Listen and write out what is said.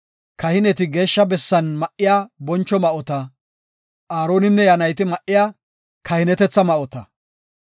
kahineti Geeshsha bessan ma7iya boncho ma7ota, Aaroninne iya nayti ma7iya kahinetetha ma7ota.